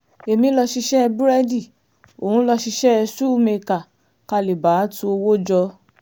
èmi lọ̀ọ́ ṣiṣẹ́ búrẹ́dì òun lọ́ọ́ ṣiṣẹ́ ṣùù mẹ́kà ká lè bàa tu owó jọ